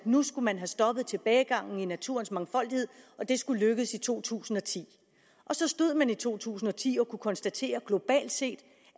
nu skulle have stoppet tilbagegangen i naturens mangfoldighed og at det skulle lykkes i to tusind og ti og så stod man i to tusind og ti og kunne konstatere globalt set